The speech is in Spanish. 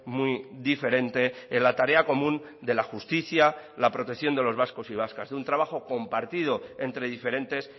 muy diferente en la tarea común de la justicia la protección de los vascos y vascas de un trabajo compartido entre diferentes